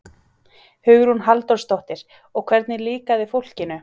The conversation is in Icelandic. Hugrún Halldórsdóttir: Og hvernig líkaði fólkinu?